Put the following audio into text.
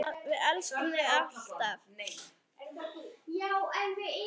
Við elskum þig alltaf.